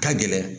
Ka gɛlɛn